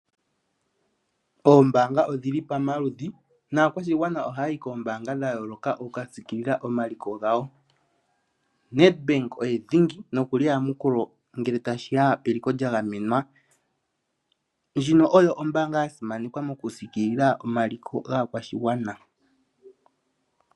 Oombaanga odhili pomaludhi naakwashigwana ohaya yi koombaanga dha yooloka oku ka siikilila omaliko gawo. Nedbank oye dhingi nokuli eyamukulo ngele ta shiya peliko lya gamenwa, ndjino oyo ombaanga ya simanekwa moku siikilila omaliko gaakwashigwana.